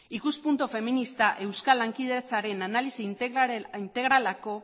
ikuspuntu feminista euskal lankidetzaren analisi integraleko